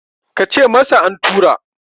ka ce masa an tura!